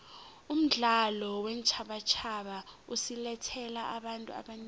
umdlalo weentjhabatjhaba usilethele abantu abanengi